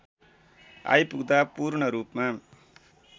आइपुग्दा पूर्णरूपमा